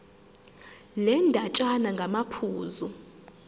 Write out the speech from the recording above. le ndatshana ngamaphuzu